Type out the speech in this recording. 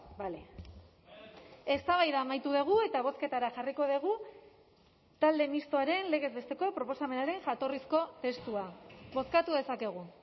bale eztabaida amaitu dugu eta bozketara jarriko dugu talde mistoaren legez besteko proposamenaren jatorrizko testua bozkatu dezakegu